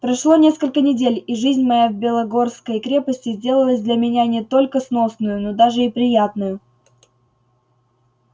прошло несколько недель и жизнь моя в белогорской крепости сделалась для меня не только сносною но даже и приятною